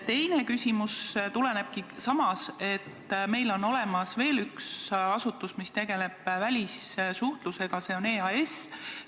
Teine küsimus tuleneb sellest, et meil on olemas veel üks asutus, mis tegeleb välissuhtlusega, see on EAS.